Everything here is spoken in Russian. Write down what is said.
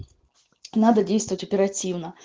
надо действовать оперативно